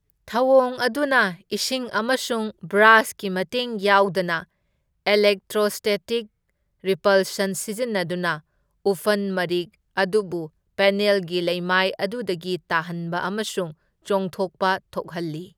ꯊꯧꯑꯣꯡ ꯑꯗꯨꯅ ꯏꯁꯤꯡ ꯑꯃꯁꯨꯡ ꯕ꯭ꯔꯁꯀꯤ ꯃꯇꯦꯡ ꯌꯥꯎꯗꯅ ꯑꯦꯂꯦꯛꯇ꯭ꯔꯣꯁꯇꯦꯇꯤꯛ ꯔꯦꯄꯜꯁꯟ ꯁꯤꯖꯤꯟꯅꯗꯨꯅ ꯎꯐꯟ ꯃꯔꯤꯛ ꯑꯗꯨꯕꯨ ꯄꯦꯅꯦꯜꯒꯤ ꯂꯩꯃꯥꯏ ꯑꯗꯨꯗꯒꯤ ꯇꯥꯍꯟꯕ ꯑꯃꯁꯨꯡ ꯆꯣꯡꯊꯣꯛꯄ ꯊꯣꯛꯍꯜꯂꯤ꯫